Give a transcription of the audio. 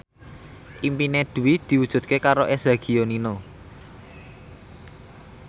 impine Dwi diwujudke karo Eza Gionino